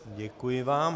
Děkuji vám.